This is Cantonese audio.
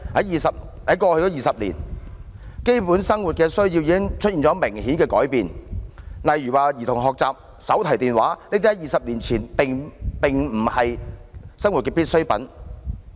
然而，在過去20年，基本生活需要已出現明顯的改變，例如兒童學習、手提電話等在20年前並非生活必需品。